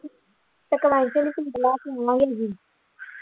ਤੇ